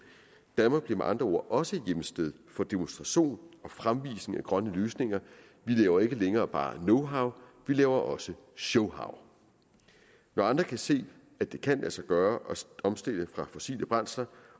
danmark bliver med andre ord også hjemsted for demonstration og fremvisning af grønne løsninger vi laver ikke længere bare knowhow vi laver også showhow når andre kan se at det kan lade sig gøre at omstille fra fossile brændsler